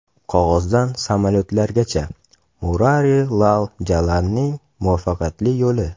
Qog‘ozdan samolyotlargacha: Murari Lal Jalanning muvaffaqiyat yo‘li.